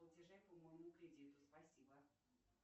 платежей по моему кредиту спасибо